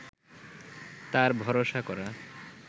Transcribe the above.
তার ভরসা করা